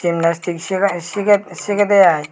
gymnastic sigai sigey sigedey ai.